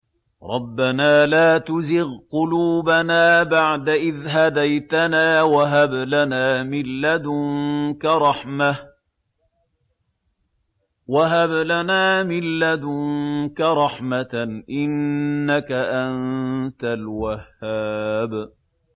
رَبَّنَا لَا تُزِغْ قُلُوبَنَا بَعْدَ إِذْ هَدَيْتَنَا وَهَبْ لَنَا مِن لَّدُنكَ رَحْمَةً ۚ إِنَّكَ أَنتَ الْوَهَّابُ